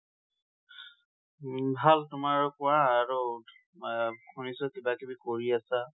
উম ভাল। তোমাৰ আৰু কোৱা, আৰু তোমাৰ, শুনিছোঁ কিবা কিবি কৰি আছা।